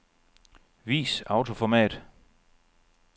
Vis autoformat.